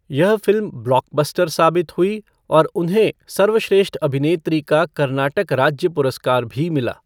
यह film blockbuster साबित हुई और उन्हें सर्वश्रेष्ठ अभिनेत्री का कर्नाटक राज्य पुरस्कार भी मिला।